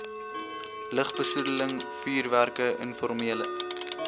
lugbesoedeling vuurwerke informele